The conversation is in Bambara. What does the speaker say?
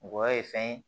Ngɔyɔ ye fɛn ye